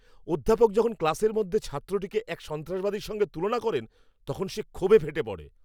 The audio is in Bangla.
অধ্যাপক যখন ক্লাসের মধ্যে ছাত্রটিকে এক সন্ত্রাসবাদীর সঙ্গে তুলনা করেন, তখন সে ক্ষোভে ফেটে পড়ে।